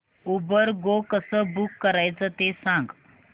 Uber Go कसं book करायचं ते सांग